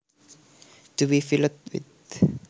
To be filled with